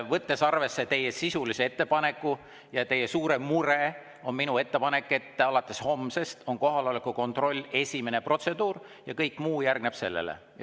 Võttes arvesse teie sisulist ettepanekut ja teie suurt muret, on minu ettepanek, et alates homsest on kohaloleku kontroll esimene protseduur ja kõik muu järgneb sellele.